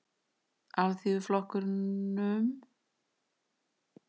Alþýðuflokknum stefndu að því ljóst og leynt að koma sér í mjúkinn hjá íhaldinu.